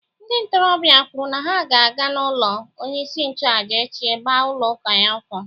Ndị ntorobịa kwuru na ha ga-aga n’ụlọ onye isi nchụaja echi gbaa ụlọ ya ọkụ.